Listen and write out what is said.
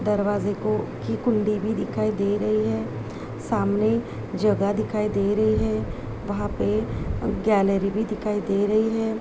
दरवाजे को की कुण्डी भी दिखाई दे रही है सामने जगह दिखाई दे रही है वहाँ पे गैलरी भी दिखाई दे रही है।